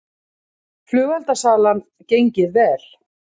Flugeldasalan gengið vel